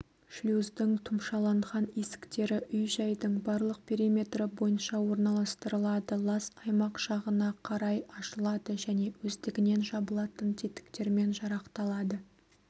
шлюздің тұмшаланған есіктері үй-жайдың барлық периметрі бойынша орналастырылады лас аймақ жағына қарай ашылады және өздігінен жабылатын тетіктермен жарақталады